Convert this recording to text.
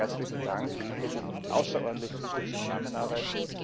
Nochmals herzlichen Dank für die außerordentlich gute Zusammenarbeit.